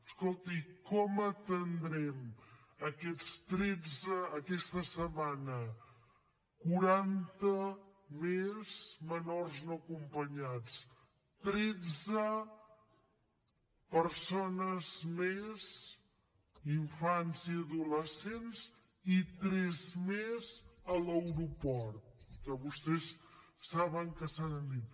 escolti com atendrem aquesta setmana quaranta més menors no acompanyats tretze persones més infants i adolescents i tres més a l’aeroport que vostès saben que s’han dit